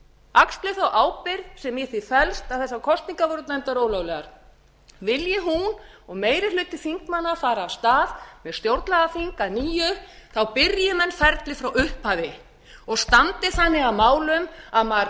axli þá ábyrgð sem í því felst að þessar kosningar voru dæmdar ólöglegar vilji hún og meiri hluti þingmanna fara af stað með stjórnlagaþing að nýju byrji menn ferlið frá upphafi og standi þannig að málum að maður